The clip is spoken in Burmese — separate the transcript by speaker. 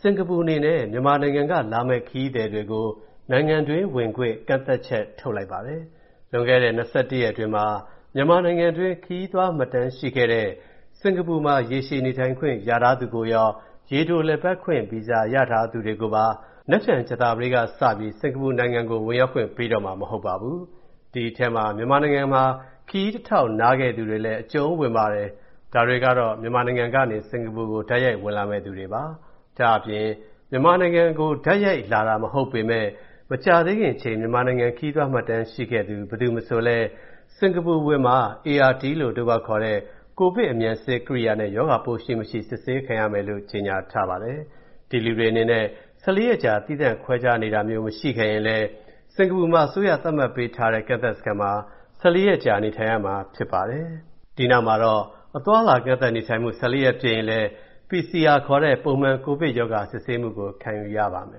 Speaker 1: စင်္ကာပူအနေနဲ့ မြန်မာနိုင်ငံက လာမယ့် ခရီးသည်တွေကို နိုင်ငံတွင်း ဝင်ခွင့် ကန့်သတ်ချက်ထုတ်လိုက်ပါတယ်။ လွန်ခဲ့တဲ့ ၂၁ ရက်အတွင်းမှာ မြန်မာနိုင်ငံတွင်း ခရီးသွားမှတ်တမ်းရှိခဲ့တဲ့ စင်္ကာပူမှာ ရေရှည်နေထိုင်ခွင့်ရထားသူကိုရော ရေတို လည်ပတ်ခွင့်ဗီဇာရထားသူတွေကိုပါ ကြာသပတေးနေ့စပြီး စင်္ကာပူနိုင်ငံကို ဝင်ရောက်ခွင့်ပေးတော့မှာ မဟုတ်ပါဘူး။ ဒီအထဲမှာ မြန်မာနိုင်ငံမှာ ခရီးတထောက်နားခဲ့သူတွေလည်း အကျုံးဝင်ပါတယ်။ ဒါတွေကတော့ မြန်မာနိုင်ငံကနေ စင်္ကာပူကို တိုက်ရိုက်ဝင်လာမယ့်သူတွေပါ။ ဒါ့အပြင် မြန်မာနိုင်ငံက တိုက်ရိုက်လာတာ မဟုတ်ပေမဲ့ မကြာသေးခင်အချိန် မြန်မာနိုင်ငံခရီးသွားမှတ်တမ်းရှိခဲ့သူ ဘယ်သူမဆိုလည်း စင်္ကာပူအဝင်မှာ ART လို့ အတိုကောက်ခေါ်တဲ့ ကိုဗစ်အမြန်စစ်ကိရိယာနဲ့ ရောဂါပိုးရှိ၊ မရှိ စစ်ဆေးခံရမယ်လို့ ကြေညာထားပါတယ်။ ဒီလူတွေအနေနဲ့ ၁၄ ရက်ကြာ သီးခြားခွဲနေတာမျိုး မရှိခဲ့ရင်လည်း စင်္ကာပူမှာ အစိုးရသတ်မှတ်ပေးထားတဲ့ ကန့်သတ်စခန်းမှာ ၁၄ ရက်ကြာနေထိုင်ရမှာဖြစ်ပါတယ်။ အဲဒီနောက် အသွားအလာကန့်သတ်နေထိုင်မှု ၁၄ ရက်ပြည့်ရင်လည်း PCR ခေါ်တဲ့ ပုံမှန်ကိုဗစ်ရောဂါပိုးစစ်ဆေးမှုကို ခံယူရ
Speaker 2: ပါမယ်။